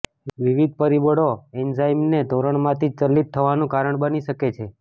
વિવિધ પરિબળો એન્ઝાઇમને ધોરણમાંથી ચલિત થવાનું કારણ બની શકે છે